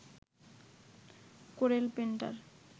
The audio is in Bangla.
Corel painter